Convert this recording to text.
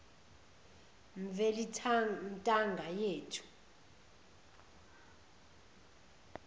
mveli ntanga yethu